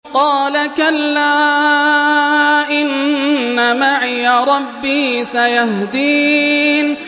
قَالَ كَلَّا ۖ إِنَّ مَعِيَ رَبِّي سَيَهْدِينِ